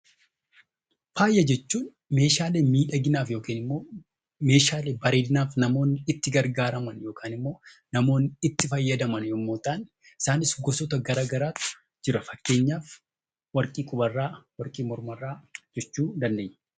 Faaya jechuun Meeshaalee miidhaginaa yookiin Meeshaalee namoonni bareedinaaf itti gargaaraman yookaan immoo itti fayyadaman yemmuu ta'an, isaanis gosoota garaagaraatu jira fakkeenyaaf warqii quba irraa, warqii morma irraa jechuu dandeenya.